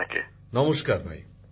প্রধানমন্ত্রী জীঃ নমস্কার ভাই